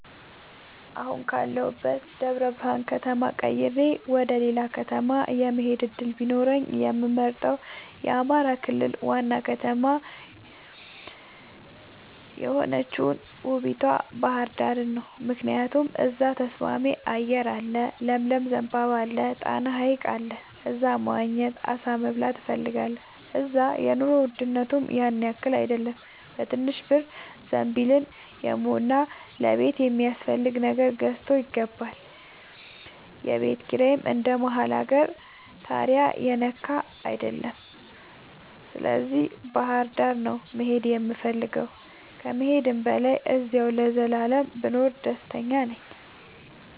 አሁን ካለሁበት ደብረብርሃን ከተማ ቀይሬ ወደሌላ ከተማ የመሆድ እድል ቢኖረኝ የምመርጠው የአማራ ክልል ዋና ከተማ የሆነችውን ውቡቷ ባህርዳርን ነው። ምክንያቱም እዛ ተስማሚ አየር አለ ለምለም ዘንባባ አለ። ጣና ሀይቅ አለ እዛ መዋኘት አሳ መብላት እፈልጋለሁ። እዛ የኑሮ ውድነቱም ያንያክል አይደለም በትንሽ ብር ዘንቢልን የሞላ ለቤት የሚያስፈልግ ነገር ገዝቶ ይገባል። የቤት ኪራይም እንደ መሀል አገር ታሪያ የነካ አይደለም ስለዚህ ባህርዳር ነው መሄድ የምፈልገው ከመሄድም በላይ አዚያው ለዘላለም ብኖር ደስተኛ ነኝ።